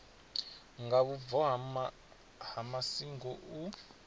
nga vhubvo ha masingo u